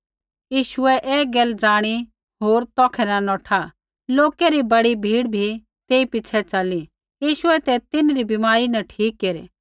यीशुऐ ऐ गैल ज़ाणी होर तौखै न नौठा लोकै री बड़ी भीड़ भी तेई पिछ़ै च़ली यीशुऐ ते तिन्हरी बीमारी न ठीक केरै